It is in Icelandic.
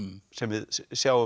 sem við sjáum